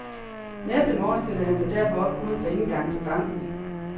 Næste morgen stillede han sig derfor op uden for indgangen til banken.